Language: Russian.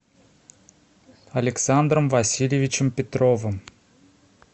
александром васильевичем петровым